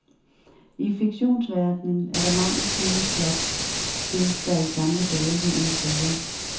I fiktionsverdenen er der mangel på nye plot, det, der i gamle dage hed intriger.